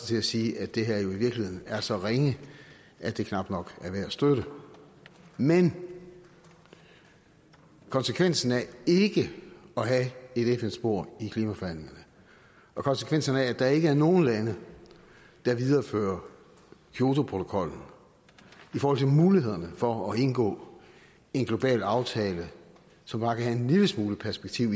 til at sige at det her jo i virkeligheden er så ringe at det knap nok er værd at støtte men konsekvensen af ikke at have et fn spor i klimaforhandlingerne og konsekvenserne af at der ikke er nogen lande der viderefører kyotoprotokollen i forhold til mulighederne for at indgå en global aftale som bare kan have en lille smule perspektiv